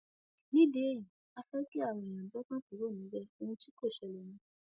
nídìí èyí á fẹ kí àwọn èèyàn gbé ọkàn kúrò níbẹ ohun tí kò ṣẹlẹ ni